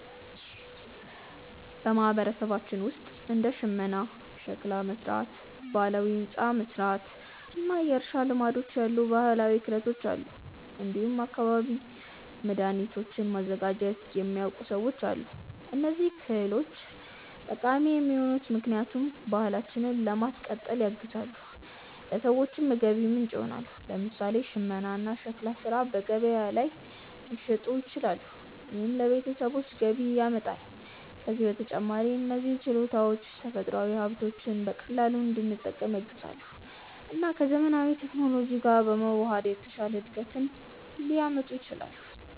በማህበረሰባችን ውስጥ እንደ ሽመና፣ ሸክላ መሥራት፣ ባህላዊ ሕንፃ መሥራት እና የእርሻ ልማዶች ያሉ ባህላዊ ክህሎቶች አሉ። እንዲሁም አካባቢያዊ መድኃኒቶችን ማዘጋጀት የሚያውቁ ሰዎችም አሉ። እነዚህ ክህሎቶች ጠቃሚ የሆኑት ምክንያቱም ባህላችንን ለማስቀጠል ያግዛሉ፣ ለሰዎችም የገቢ ምንጭ ይሆናሉ። ለምሳሌ ሽመና እና ሸክላ ሥራ በገበያ ላይ ሊሸጡ ይችላሉ፣ ይህም ለቤተሰቦች ገቢ ያመጣል። ከዚህ በተጨማሪ እነዚህ ችሎታዎች ተፈጥሯዊ ሀብቶችን በቀላሉ እንድንጠቀም ያግዛሉ እና ከዘመናዊ ቴክኖሎጂ ጋር በመዋሃድ የተሻለ እድገት ሊያመጡ ይችላሉ።